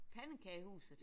Pandekagehuset?